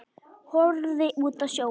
Horfði út á sjóinn.